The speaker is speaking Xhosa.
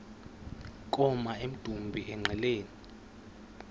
koma emdumbi engqeleni